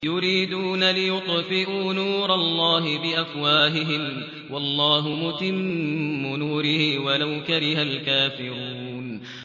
يُرِيدُونَ لِيُطْفِئُوا نُورَ اللَّهِ بِأَفْوَاهِهِمْ وَاللَّهُ مُتِمُّ نُورِهِ وَلَوْ كَرِهَ الْكَافِرُونَ